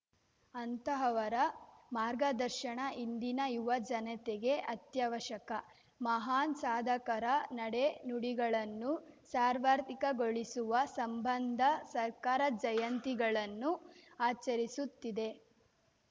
ಅಂತಹವರ ಮಾರ್ಗದರ್ಶನ ಇಂದಿನ ಯುವ ಜನತೆಗೆ ಅತ್ಯವಶ್ಯಕ ಮಹಾನ್‌ ಸಾಧಕರ ನಡೆ ನುಡಿಗಳನ್ನು ಸಾರ್ವತ್ರಿಕಗೊಳಿಸುವ ಸಂಬಂಧ ಸರ್ಕಾರ ಜಯಂತಿಗಳನ್ನು ಆಚರಿಸುತ್ತಿದೆ